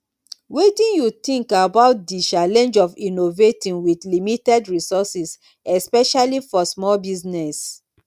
wetin you think about di challenge of innovating with limited resources especially for small business